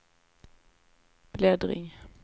bläddring